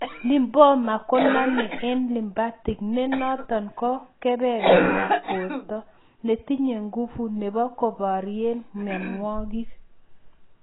Lymphoma konome en lymphatic ne noton ko kebebertab borto netinye nguvu nebo koberien myonwogik